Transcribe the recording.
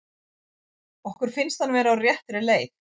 Okkur finnst hann vera á réttri leið.